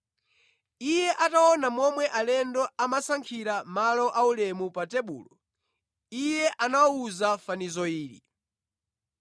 Iye ataona momwe alendo amasankhira malo aulemu pa tebulo, Iye anawawuza fanizo ili: